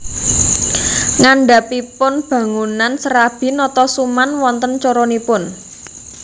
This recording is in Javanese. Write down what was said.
Ngandhapipun bangunan Serabi Notosuman wonten coronipun